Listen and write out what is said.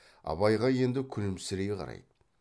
абайға енді күлімсірей қарайды